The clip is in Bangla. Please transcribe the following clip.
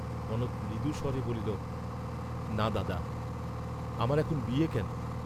কনক মৃদু স্বরে বলিল না, দাদা, আমার এখন বিয়ে কেন?